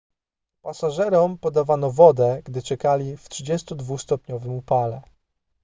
pasażerom podawano wodę gdy czekali w 32-stopniowym upale